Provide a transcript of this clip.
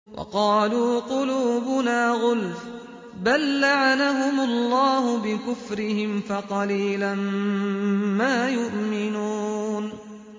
وَقَالُوا قُلُوبُنَا غُلْفٌ ۚ بَل لَّعَنَهُمُ اللَّهُ بِكُفْرِهِمْ فَقَلِيلًا مَّا يُؤْمِنُونَ